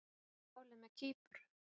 Hvað er málið með Kýpur?